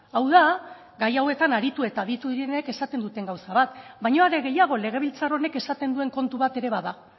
hau da gai hauetan aritu eta aditu direnek esaten duten gauza bat baina are gehiago legebiltzar honek esaten duen kontu bat ere bada